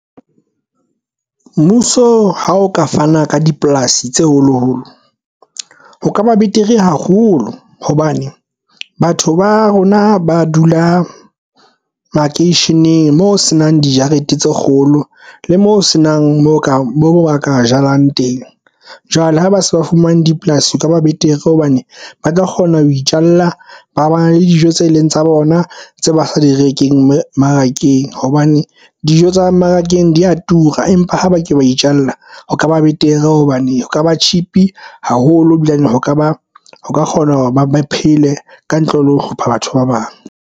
Mmuso ha o ka fana ka dipolasi tse holoholo ho kaba betere haholo hobane batho ba rona ba dula makeisheneng moo se nang dijarete tse kgolo le mo se nang mo ka moo ba ka jalang teng. Jwale ha ba se ba fumane dipolasi ka ba betere hobane ba tla kgona ho itjalla. Ba le dijo tse leng tsa bona, tse ba direnkeng mmarakeng, hobane dijo tsa mmarakeng di ya tura, empa ha ba ke ba itjalla ho kaba betere. Hobane ho ka ba cheap haholo e bilane ho ka ba ka kgona hore ba phele ka ntle le ho hlopha batho ba bang.